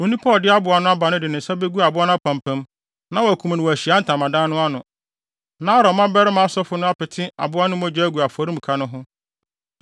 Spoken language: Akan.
Onipa a ɔde aboa no aba no de ne nsa begu aboa no apampam na wakum no wɔ Ahyiae Ntamadan no ano. Na Aaron mmabarima asɔfo no apete aboa no mogya agu afɔremuka no ho.